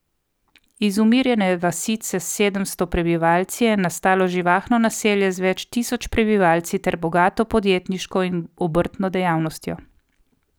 Iz umirjene vasice s sedemsto prebivalci je nastalo živahno naselje z več tisoč prebivalci ter bogato podjetniško in obrtno dejavnostjo.